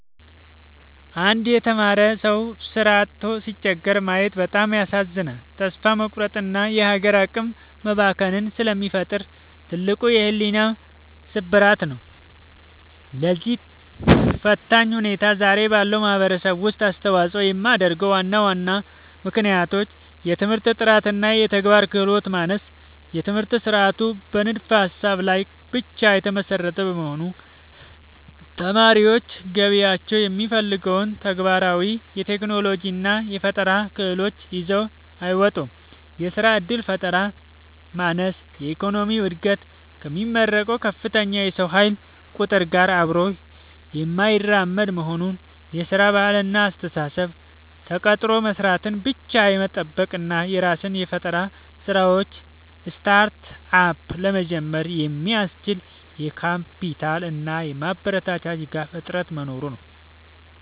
አንድ የተማረ ሰው ሥራ አጥቶ ሲቸገር ማየት በጣም ያሳዝናል፤ ተስፋ መቁረጥንና የሀገር አቅም መባከንን ስለሚፈጥር ትልቅ የሕሊና ስብራት ነው። ለዚህ ፈታኝ ሁኔታ ዛሬ ባለው ማኅበረሰብ ውስጥ አስተዋፅኦ የሚያደርጉ ዋና ዋና ምክንያቶች፦ የትምህርት ጥራትና የተግባር ክህሎት ማነስ፦ የትምህርት ሥርዓቱ በንድፈ-ሀሳብ ላይ ብቻ የተመሰረተ በመሆኑ፣ ተማሪዎች ገበያው የሚፈልገውን ተግባራዊ የቴክኖሎጂና የፈጠራ ክህሎት ይዘው አይወጡም። የሥራ ዕድል ፈጠራ ማነስ፦ የኢኮኖሚው ዕድገት ከሚመረቀው ከፍተኛ የሰው ኃይል ቁጥር ጋር አብሮ የማይራመድ መሆኑ። የሥራ ባህልና አስተሳሰብ፦ ተቀጥሮ መሥራትን ብቻ የመጠበቅ እና የራስን የፈጠራ ሥራዎች (Startup) ለመጀመር የሚያስችል የካፒታልና የማበረታቻ ድጋፍ እጥረት መኖሩ ነው።